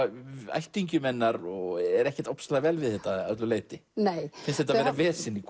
ættingjum hennar er ekkert vel við þetta að öllu leyti finnst þetta vera vesen í